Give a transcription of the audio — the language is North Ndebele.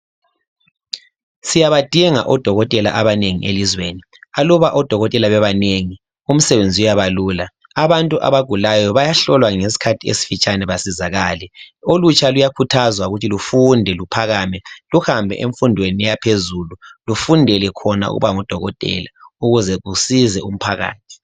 Siyabadinga odokotela abanengi elizweni aluba odokotela bebanengi umsebenzi uyaba lula abantu abagulayo bayahlolwa ngesikhathi esifitshane basizakale. Olutsha luyakhuthazwa ukuthi lufunde luphakame luhambe emfundweni yaphezulu lufundele khona ukuba ngubudokotela ukuze kusize umphakathi.